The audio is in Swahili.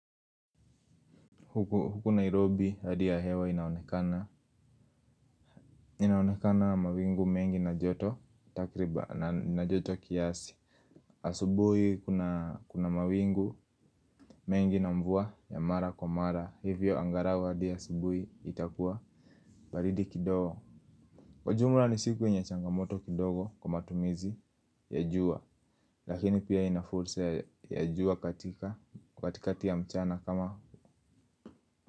Huku Nairobi hadi ya hewa inaonekana. Inaonekana mawingu mengi na joto. Takriban na joto kiasi. Asubui kuna mawingu mengi na mvua ya mara kwa mara. Hivyo angarau hadi asubui itakuwa baridi kidogo. Kwa jumla ni siku wenye changamoto kidogo. Kwa matumizi ya jua lakini pia ina fursa ya jua katika katikati ya mchana kama.